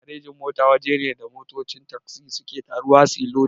Garejin-mota waje ne da motocin tagzi suke taruwa suyi lodi.